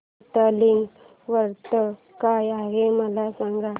हरतालिका व्रत काय आहे मला सांग